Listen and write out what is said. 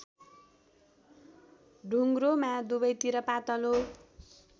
ढुङ्ग्रोमा दुबैतिर पातलो